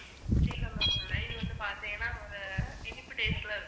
வந்து பாத்தீங்கன்னா ஒரு இனிப்பு taste ல இருக்கும்.